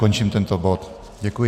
Končím tento bod, děkuji.